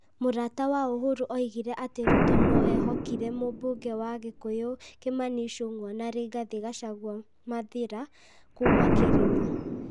Mũrata wa Uhuru oigire atĩ Ruto no ehokĩre mũmbunge wa Kikuyu Kĩmani Ichun'gwa na Rigathi Gachagũa (Mathĩra) kuuma kĩrĩma.